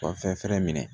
U ka fɛn fɛnɛ minɛ